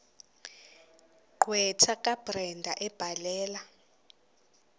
gqwetha kabrenda ebhalela